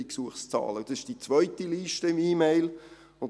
Dies ist die zweite Liste in meiner E-Mail.